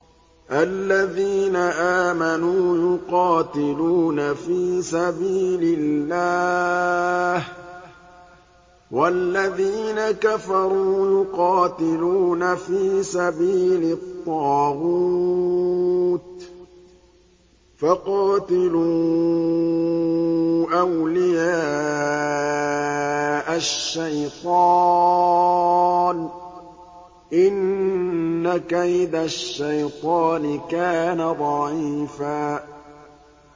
الَّذِينَ آمَنُوا يُقَاتِلُونَ فِي سَبِيلِ اللَّهِ ۖ وَالَّذِينَ كَفَرُوا يُقَاتِلُونَ فِي سَبِيلِ الطَّاغُوتِ فَقَاتِلُوا أَوْلِيَاءَ الشَّيْطَانِ ۖ إِنَّ كَيْدَ الشَّيْطَانِ كَانَ ضَعِيفًا